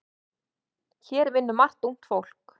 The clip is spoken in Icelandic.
Hér vinnur margt ungt fólk.